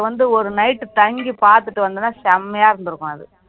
வந்து ஒரு night தங்கி பாத்துட்டு வந்தேன்னா செமையா இருந்திருக்கும் அது